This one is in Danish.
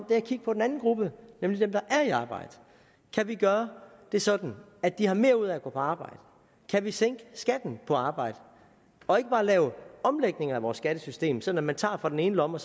at kigge på den anden gruppe nemlig dem der er i arbejde kan vi gøre det sådan at de har mere ud af at gå på arbejde kan vi sænke skatten på arbejde og ikke bare lave omlægninger af vores skattesystem sådan at man tager fra den ene lomme